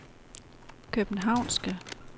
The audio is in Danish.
københavnske